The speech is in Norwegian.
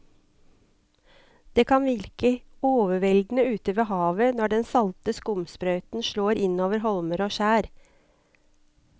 Det kan virke helt overveldende ute ved havet når den salte skumsprøyten slår innover holmer og skjær.